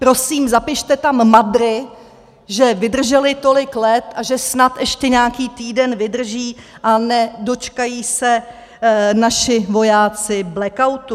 Prosím, zapište tam MADRy, že vydržely tolik let a že snad ještě nějaký týden vydrží a nedočkají se naši vojáci blackoutu.